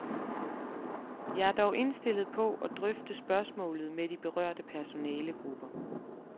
Jeg er dog indstillet på at drøfte spørgsmålet med de berørte personalegrupper.